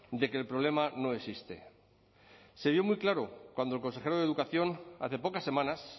de que el problema no existe se vio muy claro cuando el consejero de educación hace pocas semanas